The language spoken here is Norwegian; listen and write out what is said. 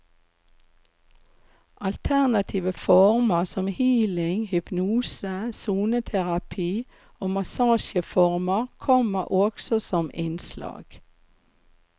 Alternative former som healing, hypnose, soneterapi og massasjeformer kommer også som innslag.